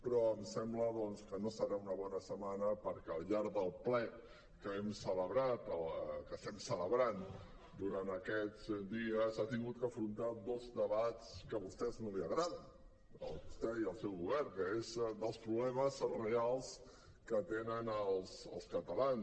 però em sembla doncs que no serà una bona setmana perquè al llarg del ple que hem celebrat que estem celebrant durant aquests dies ha hagut d’afrontar dos debats que a vostès no els agraden a vostè i al seu govern que és dels problemes reals que tenen els catalans